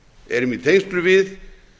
erum í tengslum við